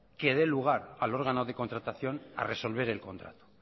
que dé lugar al órgano de contratación a resolver el contrato